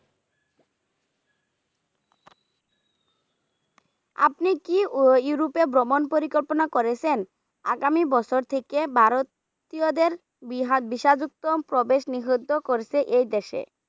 আপনি কি Europe এ ভ্রমন পরিকল্পনা করেছেন, আগামি বছর থেকে ভারতীয় দের যুক্ত প্রবেশ নিষিদ্ধ করেছে এই দেশে।